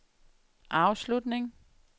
afslutning